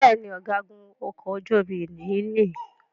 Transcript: Béèni Ọ̀gágun okò ojú omi yí ní.